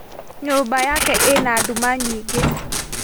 Nyũmba yake ĩna nduma nyingĩ